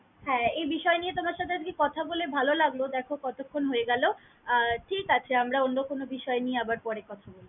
হ্যাঁ এই বিষয় নিয়ে তোমার সাথে আজকে কথা বলে ভাল লাগল দেখো কতক্ষণ হয়ে গেল আহ ঠিক আছে আমার অন্য কোন বিষয় নিয়ে আবার পরে কথা বলব।